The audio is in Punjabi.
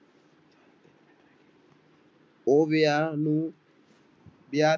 ਉਹ ਵਿਆਹ ਨੂੰ ਬਿਆਹ